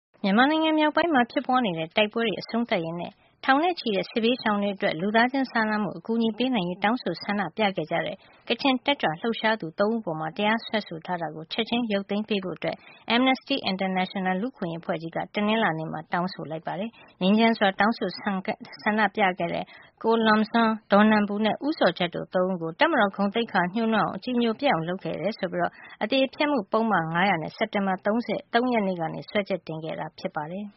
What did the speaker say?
မြန်မာနိုင်ငံမြောက်ပိုင်း မှာ ဖြစ်ပွါးနေတဲ့ တိုက်ပွဲတွေ အဆုံးသတ်ရေးနဲ့ ထောင်နဲ့ချီတဲ့ စစ်ဘေးရှောင်တွေအတွက် လူသားချင်းစာနာမှု အကူညီပေးနိုင်ရေး တောင်းဆိုဆန္ဒပြခဲ့တဲ့ ကချင်တက်ကြွလှုပ်ရှားသူ ၃ ဦးအပေါ် တရားစွဲဆိုထားတာကို ချက်ချင်းရုပ်သိမ်းပေး ဖို့ Amnesty International က တနင်္လာနေ့မှာ တောင်းဆိုလိုက်ပါတယ်။ ငြိမ်းချမ်းစွာ တောင်းဆို ဆန္ဒပြခဲ့တဲ့ ကို Lum Zawng၊ ဒေါ်နန်ပူနဲ့ ဦးဇော်ဂျတ်တို့ ၃ ဦးကို တပ်မတော်ကို ဂုဏ်သိက္ခာညိုးနွမ်းအောင် အကြည်ညိုပျက်အောင်လုပ်ခဲ့တယ်ဆိုပြီး အသရေဖျက်မှုပုဒ်မ ၅၀၀နဲ့ စက်တင်ဘာလ ၃ ရက်နေ့က စွဲချက်တင်ခဲ့တာ ဖြစ်ပါတယ်။